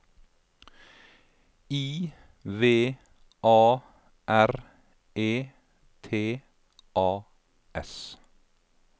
I V A R E T A S